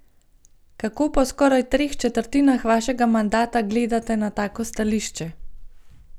Kako po skoraj treh četrtinah vašega mandata gledate na tako stališče?